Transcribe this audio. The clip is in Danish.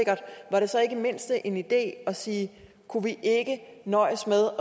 var en idé at sige kunne vi ikke nøjes med